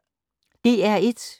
DR1